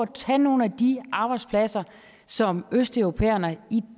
tage nogle af de arbejdspladser som østeuropæerne i